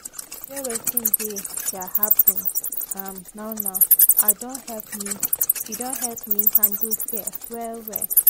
to de enjoy wetin de um happen um now now i don help me handle fear well well